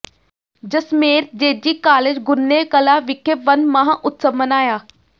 Jasmer JG college Gurne Kalan ਵਿਖੇ ਵਣ ਮਹਾਉਤਸਵ ਮਨਾਇਆ